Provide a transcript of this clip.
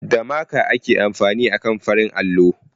Da maka ake amfani akan farin allo